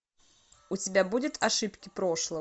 у тебя будет ошибки прошлого